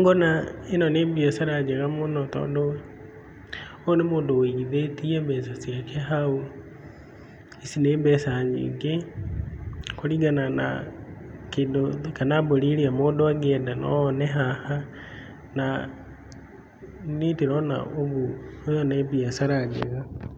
Ngona ĩno nĩ biacara njega mũno tondũ, ũyũ nĩ mũndũ ũigithĩtie mbeca ciake hau, ici nĩ mbeca nyingĩ kũringana na kĩndũ kana mbũri ĩrĩa mũndũ angĩenda no one haha na niĩ ndĩrona ũguo ĩno nĩ biacara njega.